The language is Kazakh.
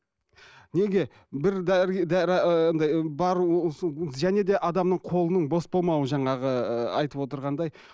неге бір және де адамның қолының бос болмауы жаңағы ыыы айтып отырғандай